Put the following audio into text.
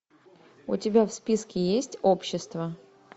у тебя в списке есть общество